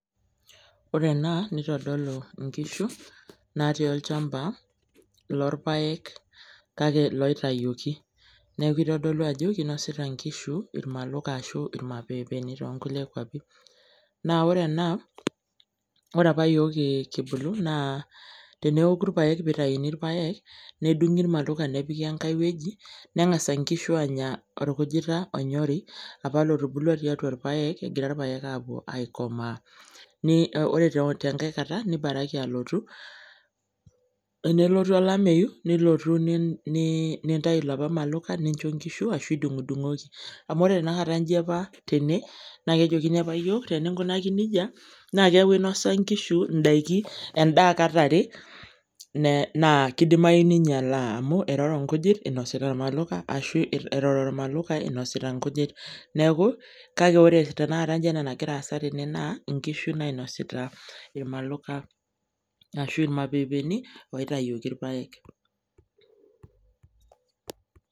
Ore ena, nitodolu inkishu natii olchamba, lorpaek kake loitayioki. Neeku itodolu ajo, kinosita nkishu irmaluka ashu imapeepeni tonkulie kwapi. Na ore ena, ore apa yiok kibulu naa teneoku irpaek pitauni irpaek, nedung'i irmaluka nepiki enkae weji, neng'asa nkishu anya orkujita onyori apa lotubulua tiatua irpaek egira irpaek aikomaa. Ore tenkae kata, nibaraki alotu tenelotu olameyu, nilotu nintayu lapa maluka nincho nkishu ashu idung'dung'oki. Amu ore tanakata ji apa tene, na kejokini apa yiok teninkunaki nejia, na keeku inosa nkishu idaiki, endaa kat are, naa kidimayu ninyalaa amu eroro nkujit inosita irmaluka ashu eroro irmaluka inosita nkujit. Neeku, kake ore tanakata iji ena nagira aasa tene naa, inkishu nainasita irmaluka ashu imapeepeni, oitayioki irpaek.